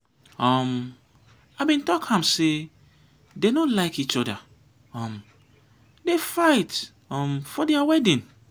um i bin talk am say dey no like each other um dey fight um for their wedding.